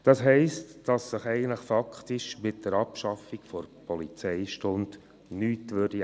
Das heisst, dass sich eigentlich faktisch mit der Abschaffung der Polizeistunde nichts ändern würde.